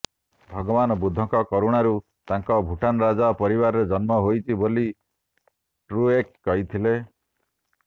ଭଗବାନ ବୁଦ୍ଧଙ୍କ କରୁଣାରୁ ତାଙ୍କର ଭୁଟାନ୍ ରାଜ ପରିବାରାର ଜନ୍ମ ହୋଇଛି ବୋଲି ଟ୍ରୁଏକ୍ କହିଥିଲେ